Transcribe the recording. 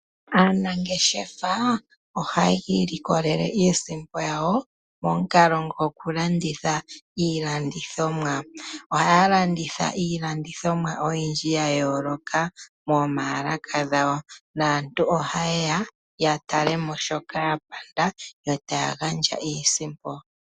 Aanangeshefa ohaa ilikolele iisimpo yawo momukalo gokulanditha iilandithomwa. Ohaya landitha iilandithomwa oyindji ya yooloka momayalaka gawo. Aantu oha yeya ya tale mo shoka ya panda yo taa gandja iisimpo.